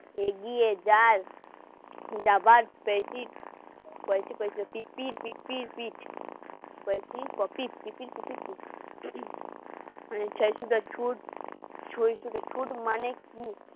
এগিয়ে যায় যাবার পিপি কই পিপি পিপি ছুট